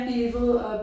Evil og